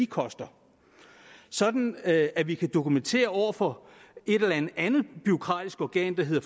koster sådan at at vi kan dokumentere over for et eller andet andet bureaukratisk organ der hedder